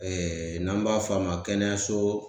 n'an b'a f'a ma kɛnɛyaso